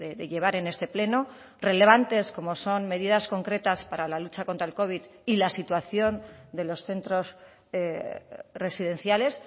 de llevar en este pleno relevantes como son medidas concretas para la lucha contra el covid y la situación de los centros residenciales